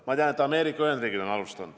Ma tean, et Ameerika Ühendriigid on alustanud.